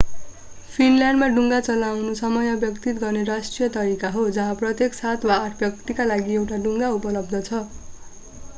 फिनल्यान्डमा डुङ्गा चलाउनु समय व्यतीत गर्ने राष्ट्रिय तरिका हो जहाँ प्रत्येक सात वा आठ व्यक्तिका लागि एक डुङ्गा उपलब्ध छ